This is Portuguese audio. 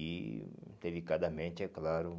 E delicadamente, é claro,